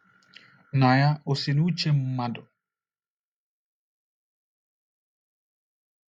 na ya ò si n’uche mmadụ?